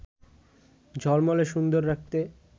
ঝলমলে সুন্দর রাখতে